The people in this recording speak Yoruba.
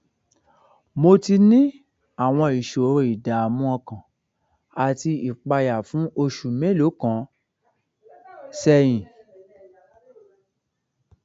mo ti ní àwọn ìṣòro ìdààmú ọkàn àti ìpayà fún oṣù mélòó kan sẹyìn